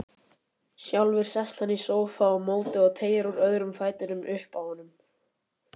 Sjálfur sest hann í sófa á móti og teygir úr öðrum fætinum uppi á honum.